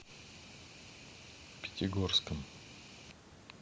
пятигорском